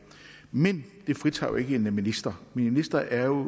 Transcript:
men det fritager jo ikke en minister en minister er jo